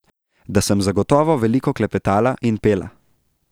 Da sem zagotovo veliko klepetala in pela.